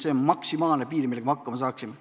See on maksimaalne piir, millega me hakkama saaksime.